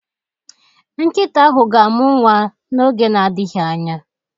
Nkịta ahụ ga-amụ nwa n'oge na-adịghị anya.